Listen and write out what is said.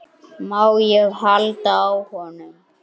Má ég halda á honum?